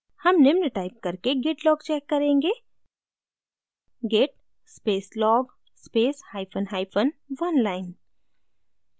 हम निम्न टाइप करके git log check करेंगे git space log space hyphen hyphen oneline